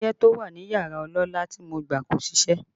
Ọyẹ́ tó wà ní yàrá ọlọ́lá tí mo gbà kò ṣiṣẹ́